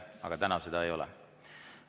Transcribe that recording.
Aga praegu seda ei ole.